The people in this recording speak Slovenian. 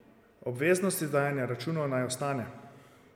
Obveznost izdajanja računov naj ostane.